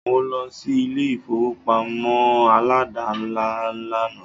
Mó lọ sí ilé ìfọwọ́pamó aládàńlá lànà.